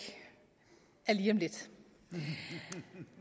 er lige om lidt